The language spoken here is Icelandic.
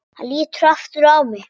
Hann lítur aftur á mig.